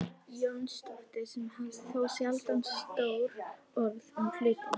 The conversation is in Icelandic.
Jónsdóttir sem hafði þó sjaldan stór orð um hlutina.